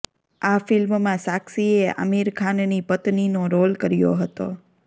આ ફિલ્મમાં સાક્ષીએ આમિર ખાનની પત્નીનો રોલ કર્યો હતો